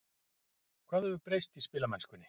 Hvað hefur breyst í spilamennskunni?